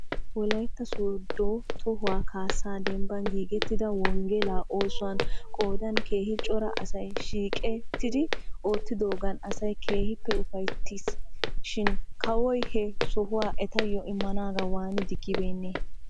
Wolaytta sooddo tohuwaa kaassaa dembban giigettida wonggelaa oosuwan qoodan keehi cora asay shiiqettidi oottidoogan asay keehippe. ufayttis shin bawo he sohuwaa etayo immanaagaa waani diggibeenee?